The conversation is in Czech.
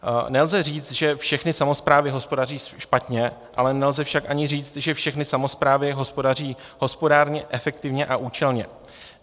Nelze říct, že všechny samosprávy hospodaří špatně, ale nelze však ani říct, že všechny samosprávy hospodaří hospodárně, efektivně a účelně.